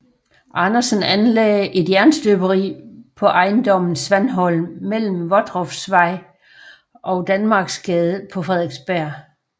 Andersen anlagde et jernstøberi på ejendommen Svanholm mellem Vodroffsvej og Danmarksgade på Frederiksberg